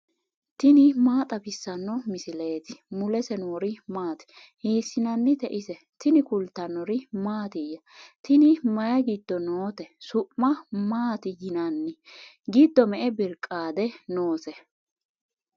tini maa xawissanno misileeti ? mulese noori maati ? hiissinannite ise ? tini kultannori mattiya? Tinni mayi giddo nootte? su'ma maatti yinnanni? giddo me'e biriqaade noose?